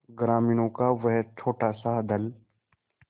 ग्रामीणों का वह छोटासा दल